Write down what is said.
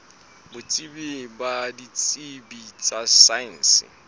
botsebi ba ditsebi tsa saense